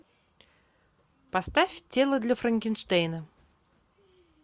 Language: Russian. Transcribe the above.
поставь тело для франкенштейна